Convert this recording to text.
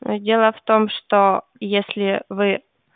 дело в том что если вы